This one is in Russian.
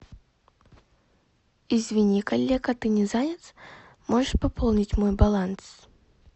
извини коллега ты не занят можешь пополнить мой баланс